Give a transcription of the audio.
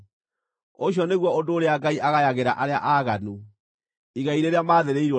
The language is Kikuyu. Ũcio nĩguo ũndũ ũrĩa Ngai agayagĩra arĩa aaganu, igai rĩrĩa maathĩrĩirwo nĩ Mũrungu.”